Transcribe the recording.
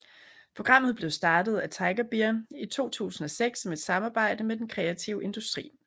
Programmet blev startet af Tiger Beer i 2006 som et samarbejde med den kreative industri